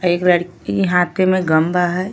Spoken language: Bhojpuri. एक लड़की हाथ में गंदा हय।